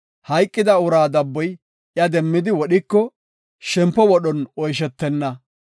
hayqida uraa dabboy iya demmidi wodhiko, shempo wodhon oyshetenna.